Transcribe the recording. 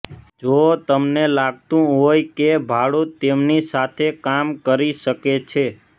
જો તમને લાગતું હોય કે ભાડૂત તેમની સાથે કામ કરી શકે છે